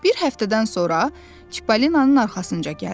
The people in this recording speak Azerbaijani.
Bir həftədən sonra Çipollinonun arxasınca gəldilər.